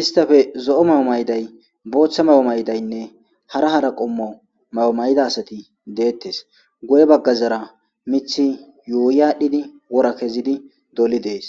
istappe zo'o mayo mayday booththa mayo maydaynne hara hara qommo mayo mayda asati deettes, guye baggazara mithi yuuy aadhdhidi wora kezidi doli dees.